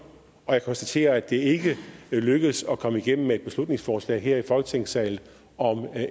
og jeg konstaterer at det ikke lykkedes at komme igennem med et beslutningsforslag her i folketingssalen om